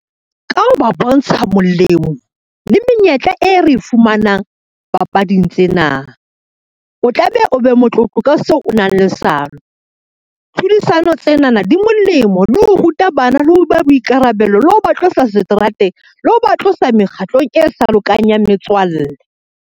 Ka ho ba bontsha molemo le menyetla e re e fumanang papading tsena. O tla be o be motlotlo ka seo o nang le , tlhodisano tsenana di molemo le ho ruta bana, le ho ba boikarabelo, le ho ba tlosa seterateng le ho ba tlosa mekgatlong e sa lokang ya metswalle.